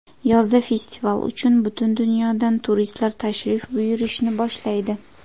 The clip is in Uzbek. Yozda festival uchun butun dunyodan turistlar tashrif buyurishni boshlaydi.